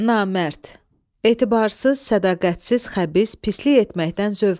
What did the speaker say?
Namərd – etibarsız, sədaqətsiz, xəbis, pislik etməkdən zövq alan.